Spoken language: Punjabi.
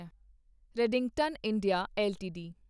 Redington India LTD